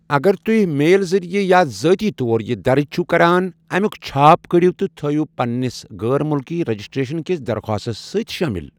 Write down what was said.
اَگر تُہۍ میل ذریعہ یا ذٲتی طور یہِ درٕج چِھو کران، امیُک چھاپ کٔڑِو تہٕ تھٲیِو پنٛنِس غٲر مُلکی رجسٹرٛیشن کِس درخاستَس سۭتۍ شٲمِل ۔